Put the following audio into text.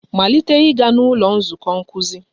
Malite ịga n'ụlọ nzukọ nkuzi!